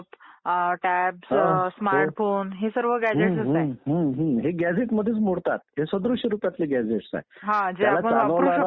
देशाचा राज्यकारभार फक्त एकच व्यक्ती चालवू शकत नाही, अनेक व्यक्ती लागतात राज्यकारभार चालवायला म्हणून निवडणूक ही एक मुख्य प्रक्रिया आहे.